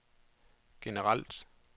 generelt